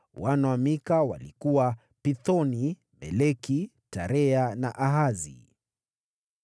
Wana wa Mika walikuwa: Pithoni, Meleki, Tarea na Ahazi.